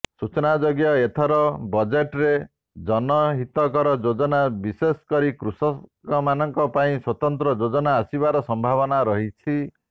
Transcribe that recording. ସୂଚନାଯୋଗ୍ୟ ଏଥର ବଜେଟ୍ରେ ଜନହିତକର ଯୋଜନା ବିଶେଷ କରି କୃଷକମାନଙ୍କ ପାଇଁ ସ୍ୱତନ୍ତ୍ର ଯୋଜନା ଆସିବାର ସମ୍ଭାବନା ରହିଛି